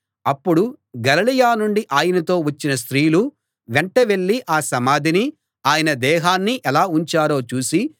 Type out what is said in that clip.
అప్పుడు గలిలయ నుండి ఆయనతో వచ్చిన స్త్రీలు వెంట వెళ్ళి ఆ సమాధినీ ఆయన దేహాన్నీ ఎలా ఉంచారో చూసి